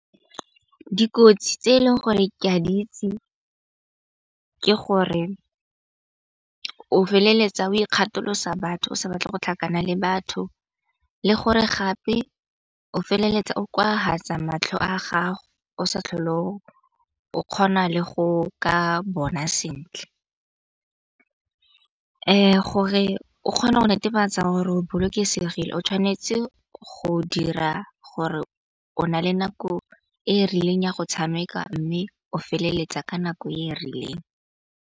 Dikotsi tse eleng gore ke a di itse, ke gore o feleletsa o ikgatholosa batho o sa batle go tlhakane le batho. Le gore gape o feleletsa o kwa matlho a gago o sa tlhole o kgona le go ka bona sentle. Gore o kgona go netefatsa gore o bolokesegile o tshwanetse go dira gore o na le nako e e rileng ya go tshameka, mme o feleletsa ka nako e e rileng.